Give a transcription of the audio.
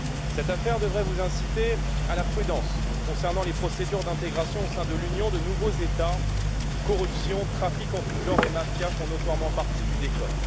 Cette affaire devrait vous inciter à la prudence concernant les procédures d'intégration, au sein de l'Union, de nouveaux États où corruption, trafics en tout genre et mafia font notoirement partie du décor.